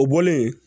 O bɔlen